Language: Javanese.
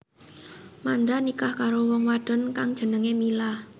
Mandra nikah karo wong wadon kang jenengé Mila